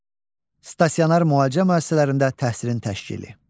Stasionar müalicə müəssisələrində təhsilin təşkili.